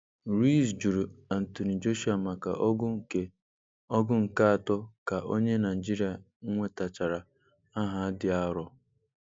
Ruiz jụrụ Anthony Joshua maka ọgụ nke ọgụ nke atọ ka onye Naijiria nwetachara aha dị arọ.